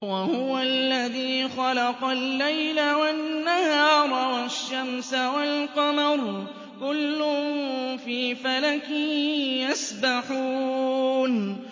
وَهُوَ الَّذِي خَلَقَ اللَّيْلَ وَالنَّهَارَ وَالشَّمْسَ وَالْقَمَرَ ۖ كُلٌّ فِي فَلَكٍ يَسْبَحُونَ